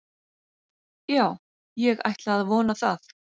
Já ég ætla að vona það.